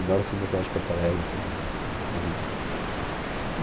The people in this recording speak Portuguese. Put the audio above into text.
Eu adoro o centro da cidade de Porto Alegre assim